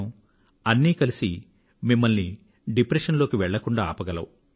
అన్నీ కలసి డిప్రెషన్ లోకి వెళ్ళకుండా మిమ్మల్ని ఆపగలవు